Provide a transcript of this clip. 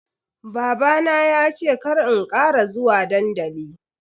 Babana ya ce kar in kara zuwa dandali.